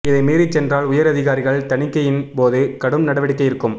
இதை மீறிச்சென்றால் உயர் அதிகாரிகள் தணிக்கையின் போது கடும் நடவடிக்கை இருக்கும்